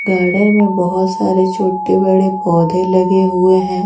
Garden में बहुत सारे छोटे-बड़े पौधे लगे हुए हैं।